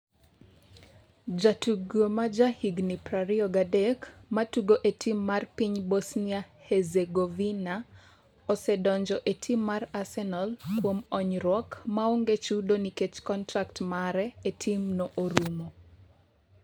Jatugo ma jahigni 23, matugo e tim mar piny Bosnia-Herzegovina, osedonjo e tim mar Arsenal kuom onyruok maonge chudo nikech kontrak mare e timno orumo.